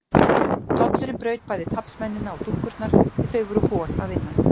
Tollurinn braut bæði taflmennina og dúkkurnar því þau voru hol að innan.